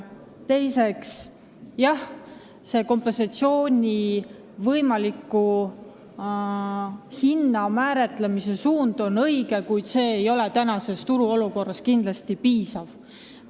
Teiseks, selle talumistasu võimaliku suuruse määramise suund on õige, kuid see tasu ei ole praeguses turuolukorras kindlasti piisav.